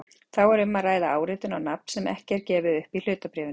Þá er um að ræða áritun á nafn sem ekki er gefið upp í hlutabréfinu.